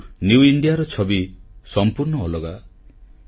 କିନ୍ତୁ ନ୍ୟୁ Indiaର ଛବି ସମ୍ପୂର୍ଣ୍ଣ ଅଲଗା